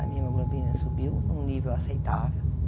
A minha hemoglobina subiu num nível aceitável.